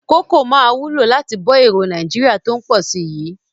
Kókò máa wúlò láti bọ́ èròo Nàìjíríà tó ń pọ̀ si yii